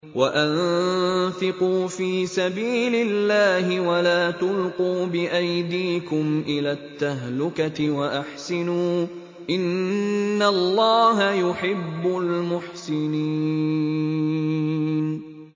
وَأَنفِقُوا فِي سَبِيلِ اللَّهِ وَلَا تُلْقُوا بِأَيْدِيكُمْ إِلَى التَّهْلُكَةِ ۛ وَأَحْسِنُوا ۛ إِنَّ اللَّهَ يُحِبُّ الْمُحْسِنِينَ